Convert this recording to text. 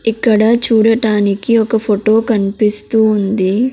ఇక్కడ చూడటానికి ఒక ఫొటో కన్పిస్తూ ఉంది.